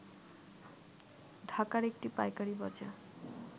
ঢাকার একটি পাইকারি বাজার